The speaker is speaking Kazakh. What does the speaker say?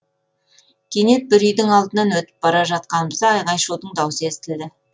кенет бір үйдің алдынан өтіп бара жатқанымызда айғай шудың даусы естілді